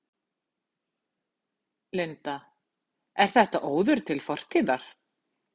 Linda: Er þetta óður til fortíðar?